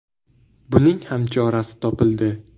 – Buning ham chorasi topildi.